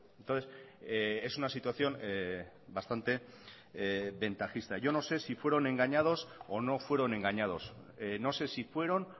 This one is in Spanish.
entonces es una situación bastante ventajista yo no sé si fueron engañados o no fueron engañados no sé si fueron